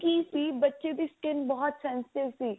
ਕੀ ਸੀ ਬੱਚੇ ਦੀ skin ਬਹੁਤ sensitive ਸੀ